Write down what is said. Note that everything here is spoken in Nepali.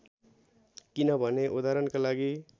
किनभने उदाहरणका लागि